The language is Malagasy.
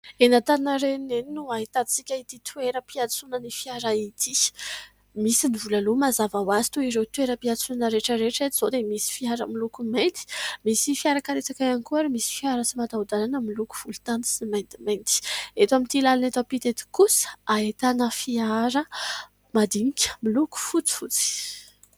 Eny Antaninarenina eny no ahitantsika ity toeram-piantsoanan'ny fiara ity misy ny vola aloa mazava ho azy toy ireo toeram-piatsoana rehetra rehetra eto izao dia misy fiara miloko mainty, misy fiarakaretsaka ihany koa ary misy fiara tsy mataho-dàlana miloko volontany sy maintimainty eto amin'ity làlana eto ampita ety kosa ahitana fiara madinika miloko fotsifotsy.